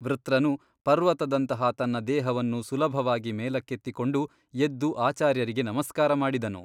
ವೃತ್ರನು ಪರ್ವತದಂತಹ ತನ್ನ ದೇಹವನ್ನು ಸುಲಭವಾಗಿ ಮೇಲಕ್ಕೆತ್ತಿಕೊಂಡು ಎದ್ದು ಆಚಾರ್ಯರಿಗೆ ನಮಸ್ಕಾರ ಮಾಡಿದನು.